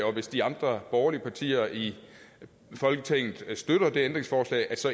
og hvis de andre borgerlige partier i folketinget støtter det ændringsforslag så